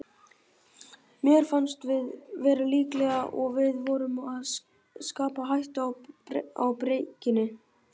Mér fannst við vera líklegir og við vorum að skapa hættu á breikinu.